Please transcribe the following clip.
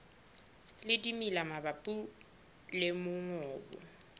le dimela mabapi le mongobo